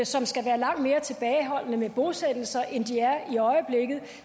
som skal være langt mere tilbageholdende med bosættelser end de er i øjeblikket